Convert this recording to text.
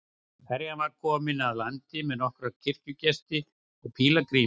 Ferjan var að koma að landi með nokkra kirkjugesti og pílagríma.